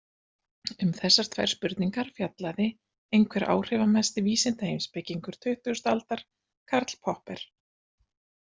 Um þessar tvær spurningar fjallaði einhver áhrifamesti vísindaheimspekingur tuttugasta aldar, Karl Popper.